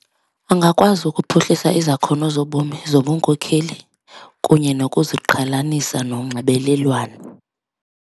Angakwazi ukuphuhlisa izakhono zobomi zobunkokheli kunye nokuziqhelanisa nonxibelelwano.